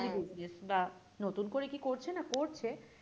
Family business বা নতুন করে কি করছে না করছে,